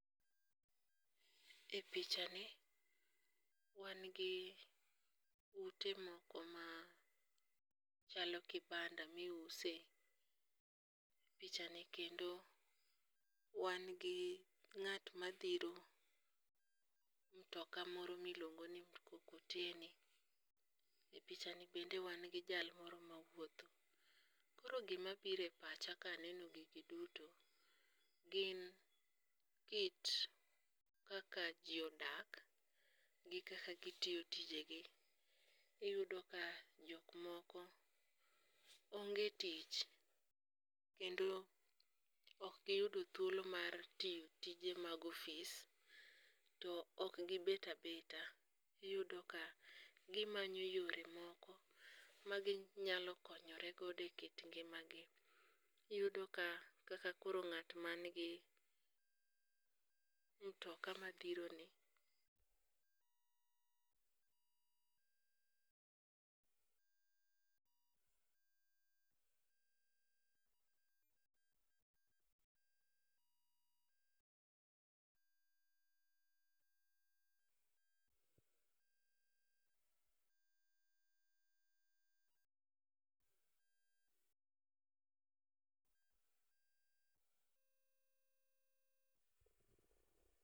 E pichani wan gi utemoko machalo kibanda ma iuse. E pichani kendo wan gi ng'at madhiro mtoka moro miluongo ni mkokoteni, e pichani bende wangi jal moro ma wuotho. Koro gimabiro e pacha ka aneno gigi duto gin kit kaka ji odak, gi kaka gitiyo tijegi, iyudo ka jok moko ong'e tich, kendo ok giyudo dhuolo mar tiyo tije mag office to ok gibet abeta iyudo ka gimanyo yore moko maginyalo konyoregodo e kit ng'imagi, iyudo ka kaka koro ng'at man gi mtoka mabiro ni